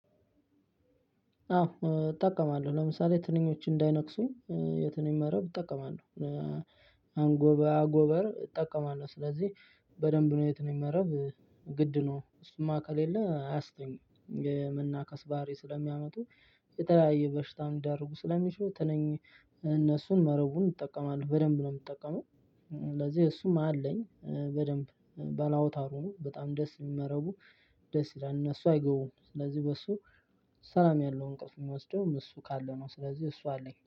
አዎ እጠቀማለሁ ለምሳሌ ትንኞች እንዳይነክሱኝ የትንኝ መረብ እጠቀማለሁ። አንጎባ አጎበር እጠቀማለሁ ስለዚህ በደንብ ነው የትንኝ መረብ ግድ ነው እሱማ ከሌለ አያስተኙም። መናከስ ባህሪ ስለሚያመጡ የተለያየ በሽታ ሊዳርጉ ስለሚችሉ ትንኝ እነሱን መረቡን እጠቀማለሁ በደንብ ነው የምጠቀመው። ስለዚህ እሱም አለኝ በደንብ ባለ አውታሩ በጣም ደስ የሚል መረቡ። ደስ ይላል እነሱ አይገቡም ስለዚህ በሱ ሰላም ያለው እንቅልፍ የሚወስደውም እሱ ካለ ነው። ስለዚህ እሱ አለኝ